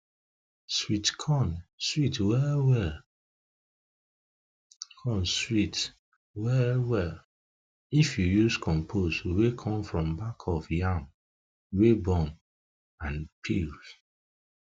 sweet corn sweet well well corn sweet well well if you use compost wey come from back of yam wey burn and peels